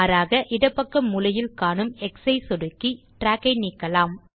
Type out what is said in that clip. மாறாக இடப்பக்க மூலையில் காணும் எக்ஸ் ஐ சொடுக்கி trackகளை நீக்கலாம்